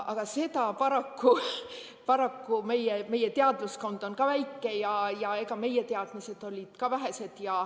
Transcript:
Aga paraku meie teadlaskond on väike ning meie teadmised olid ka vähesed.